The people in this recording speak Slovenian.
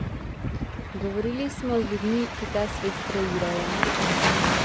Govorili smo z ljudmi, ki ta svet kreirajo.